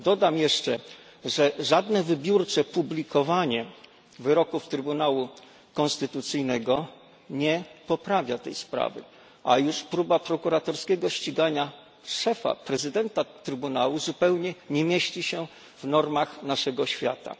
Dodam jeszcze, że żadne wybiórcze publikowanie wyroków Trybunału Konstytucyjnego nie poprawia tej sprawy, a już próba prokuratorskiego ścigania szefa, prezesa Trybunału zupełnie nie mieści się w normach naszego świata.